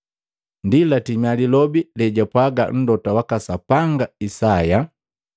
Ndi latimia lilobi lejapwaaga Mlota waka Sapanga Isaya,